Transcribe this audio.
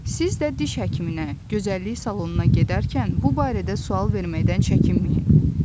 Siz də diş həkiminə, gözəllik salonuna gedərkən bu barədə sual verməkdən çəkinməyin.